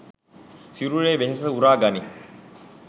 සිරුරේ වෙහෙස උරා ගනියි.